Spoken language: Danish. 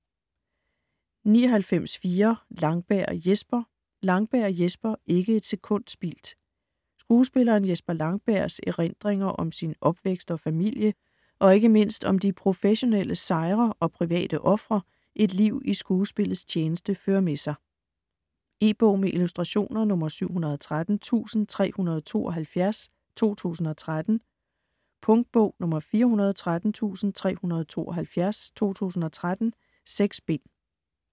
99.4 Langberg, Jesper Langberg, Jesper: Ikke et sekund spildt Skuespilleren Jesper Langbergs (f. 1940) erindringer om sin opvækst og familie, og ikke mindst om de professionelle sejre og private ofre et liv i skuespillets tjeneste fører med sig. E-bog med illustrationer 713372 2013. Punktbog 413372 2013. 6 bind.